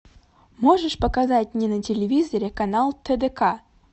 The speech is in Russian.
можешь показать мне на телевизоре канал тдк